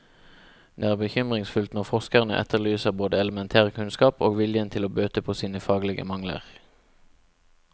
Det er bekymringsfullt når forskerne etterlyser både elementær kunnskap og viljen til å bøte på sine faglige mangler.